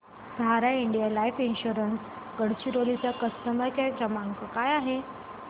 सहारा India life insurance Gadchiroli चा customer care number काय आहे